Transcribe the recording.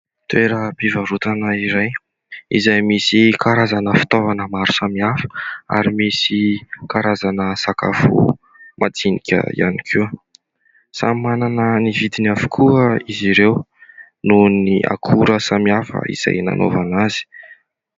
Toeram-pivarotana iray izay misy karazana fitaovana maro samihafa ary misy karazana sakafo madinika ihany koa. Samy manana ny vidiny avokoa izy ireo noho ny akora samihafa izay nanaovana azy.